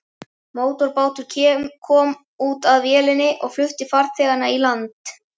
Mótorbátur kom út að vélinni og flutti farþegana í land.